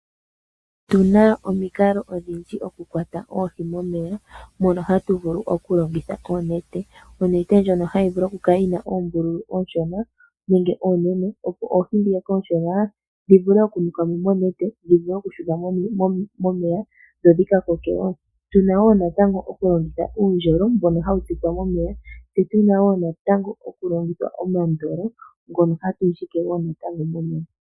Otuna omikalo odhindji oku kwata oohi momeya mono hatu vulu oku longitha onete, onete ndjono hayi vulu kala yina oombululu oonshona nenge oonene, opo oohi ndhoka oonshona dhi vule oku nuka mo monete dhi Shu ne mo momeya dho dhi ka koke wo. Tuna wo natango oku longitha uundjolowele mbon hawu tsikwa momeya, tse tuna wo natango oku longitha omandolo ngono hatu ndjike momeya.